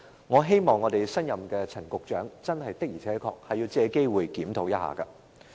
我希望新上任的陳局長一定要作出檢討。